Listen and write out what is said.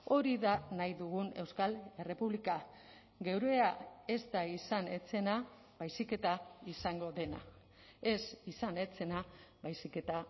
hori da nahi dugun euskal errepublika geurea ez da izan ez zena baizik eta izango dena ez izan ez zena baizik eta